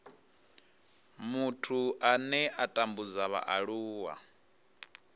muthu ane a tambudza vhaaluwa